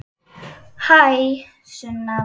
Hæ, Sunna.